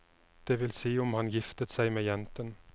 Det vil si om han giftet seg med jenten.